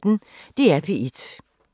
DR P1